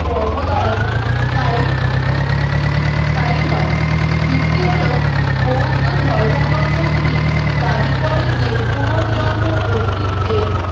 কর্ম দ্বারা স্থায়ী স্থায়ী হয় যুক্তি হল বৌদ্ধ ধর্মগ্রন্থ গুলি দাবি করে যে পুনর্জন্ম অস্তিত্বের